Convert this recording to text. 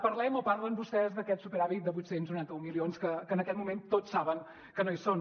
parlem o parlen vostès d’aquest superàvit de vuit cents i noranta un milions que en aquest moment tots saben que no hi són